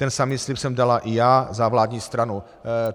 Ten samý slib jsem dala i já za vládní stranu."